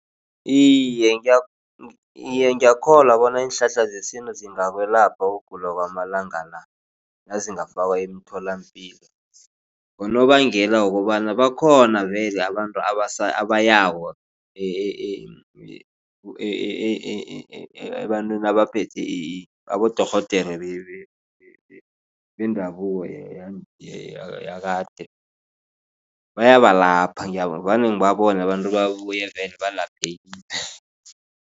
Iye, iye, ngiyakholwa bona iinhlahla zesintu zingakwelapha ukugula kwamalanga la nazingafakwa emtholapilo. Ngonobangela wokobana bakhona vele abantu abayako ebantwini abaphethwe abodorhodere bendabuko yakade bayabalapha vane ngibabone abantu babuye vele balaphekile.